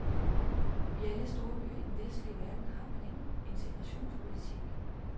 I alle storbyer i den vestlige verden har man en integrationspolitik.